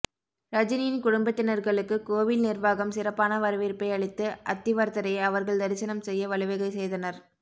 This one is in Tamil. ரஜினியின் குடும்பத்தினர்களுக்கு கோவில் நிர்வாகம் சிறப்பான வரவேற்பை அளித்து அத்திவரதரை அவர்கள் தரிசனம் செய்ய வழிவகை செய்தனர்